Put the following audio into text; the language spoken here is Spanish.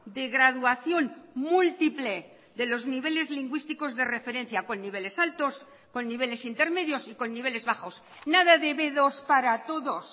de graduación múltiple de los niveles lingüísticos de referencia con niveles altos con niveles intermedios y con niveles bajos nada de be dos para todos